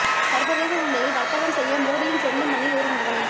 சர்வதேச சந்தையில் வர்த்தகம் செய்ய மோடியின் சொந்த மண்ணில் ஒரு நிறுவனம்